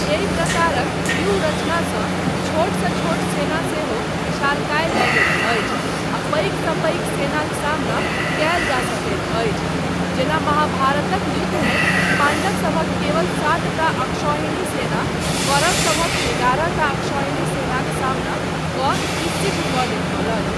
एहि प्रकारक व्यूह रचनासँ छोटसँ छोट सेना सेहो विशालकाय लगैत अछि आ पैघसँ पैघ सेनाक सामना कयल जा सकैत अछि जेना महाभारतक युद्धमे पाण्डवसभक केवल सातटा अक्षौहिणी सेना कौरवसभक एगारहटा अक्षौहिणी सेनाक सामना कऽ ई सिद्ध कऽ देखौलक।